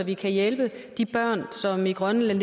vi kan hjælpe de børn i grønland